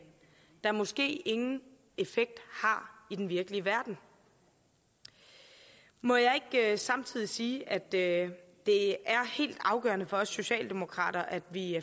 der måske ingen effekt har i den virkelige verden må jeg ikke samtidig sige at det er helt afgørende for os socialdemokrater at vi